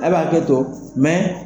A' bɛ hakɛto